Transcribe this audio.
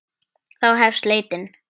Þá hefst leitin.